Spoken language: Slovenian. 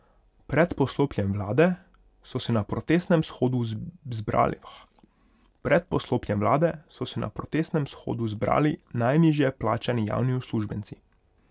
Pred poslopjem vlade so se na protestnem shodu zbrali najnižje plačani javni uslužbenci.